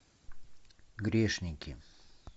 грешники